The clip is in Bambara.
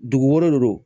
Dugu wɛrɛ de don